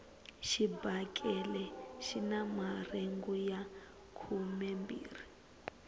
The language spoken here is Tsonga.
xibakele xina marhengu ya khumembirhi